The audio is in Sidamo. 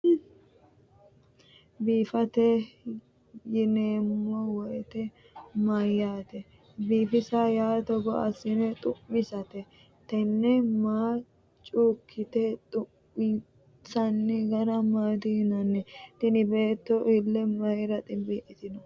biifisate yineemmo wote mayyaate? biifisa yaa togo assine xu'misate? tenne manna cuukkine xu'minsanni gara maati yinanni? tini beetto ille mayiira ximbii'litino?